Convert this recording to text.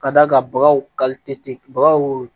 Ka d'a kan bagaw bagaw